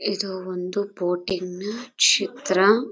ಇದು ಒಂದು ಬೋಟ್ ಇನ ಚಿತ್ರ.